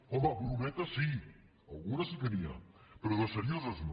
home brometes sí alguna sí que n’hi ha però de serioses no